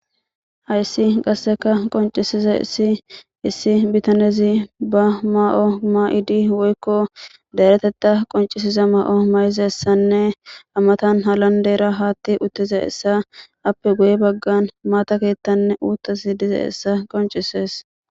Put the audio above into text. Hayssi qasseka qoncisiza issi issi bitanezi ba ma'o mayidi woykko dayretetta qoncisiza ma'o may'iza essanne amatan halandeera haatti uttiza essa appe goye baggan maata keettanne uuttasi dizayssa qonc'isees.